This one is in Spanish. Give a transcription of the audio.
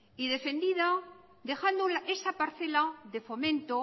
y defendido dejando esa parcela de fomento